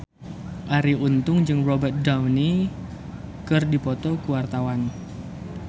Arie Untung jeung Robert Downey keur dipoto ku wartawan